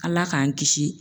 ALA k'an kisi.